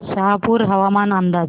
शहापूर हवामान अंदाज